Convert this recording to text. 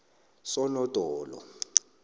sonodolo